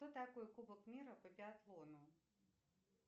кто такой кубок мира по биатлону